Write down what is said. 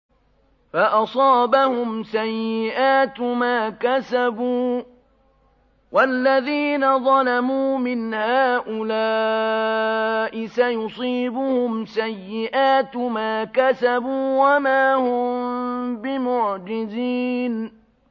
فَأَصَابَهُمْ سَيِّئَاتُ مَا كَسَبُوا ۚ وَالَّذِينَ ظَلَمُوا مِنْ هَٰؤُلَاءِ سَيُصِيبُهُمْ سَيِّئَاتُ مَا كَسَبُوا وَمَا هُم بِمُعْجِزِينَ